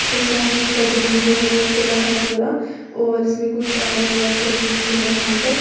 और सामने इसका ग्राउंड जो है वो खुला है पूरा और इसमें कुछ आयरन रॉड्स लगी हुई है वहां तक।